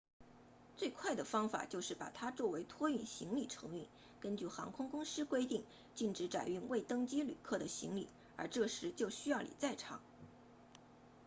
最快的方法就是把它作为托运行李承运根据航空公司规定禁止载运未登机旅客的行李而这时就需要你在场